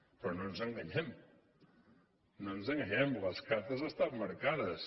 però no ens enganyem no ens enganyem les cartes estan marcades